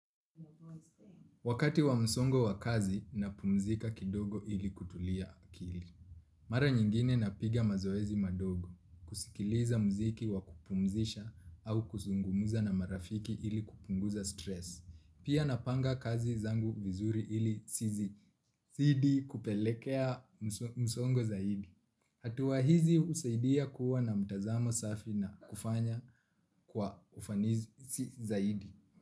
Wakati wa msongo wa kazi napumzika kidogo ili kutulia akili. Mara nyingine napiga mazoezi madogo, kusikiliza mziki wa kupumzisha au kuzungumuza na marafiki ili kupunguza stresi. Pia napanga kazi zangu vizuri ili zisizidii kupelekea msongo zaidi. Hatua hizi husaidia kuwa na mtazamo safi na kufanya kwa ufanisi zaidi.